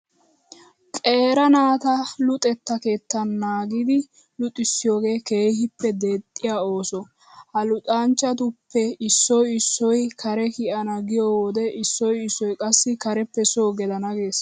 Qeera naata luxetta keettan naagidi luxissiyogee keehippe deexxiya ooso. Ha luxanchchatuppe issoy issoy kare kiyana giyo wode issoy issoy qassi kareppe soo gelana gees.